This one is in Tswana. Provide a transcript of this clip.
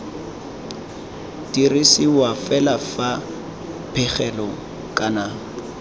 dirisiwa fela fa pegelo kana